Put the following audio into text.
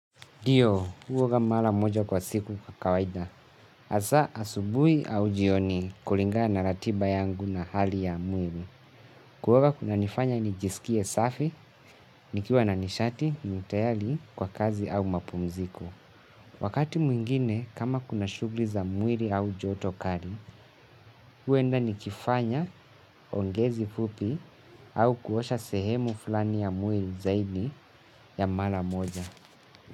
Ndio, mimi huoga mara moja kwa siku kwa kawaida. Hasa, asubuhi au jioni kulingana na ratiba yangu na hali ya mwili. Kuoga kunanifanya nijisikie safi, nikiwa na nishati, ni tayari, kwa kazi au mapumziko. Wakati mwingine, kama kuna shughuli za mwili au joto kali, huenda nikifanya ongezi fupi au kuosha sehemu fulani ya mwili zaidi ya mara moja.